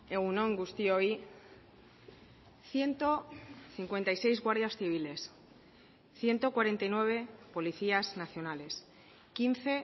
egun on guztioi ciento cincuenta y seis guardias civiles ciento cuarenta y nueve policías nacionales quince